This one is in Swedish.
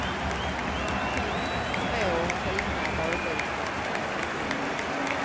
Finn små fina badvikar, det finns många.